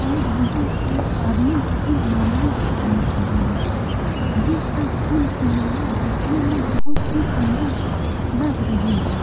और यहाँ एक आदमी इन मालाऔ को बेच रहा है ये सब फूल की माला दिखने में बहुत सुन्दर लग रही हैं ।